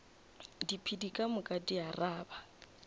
diphedi ka moka di araba